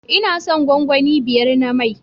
Ina son gwangwani biyar na mai